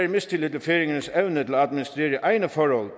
mistillid til færingernes evne til at administrere egne forhold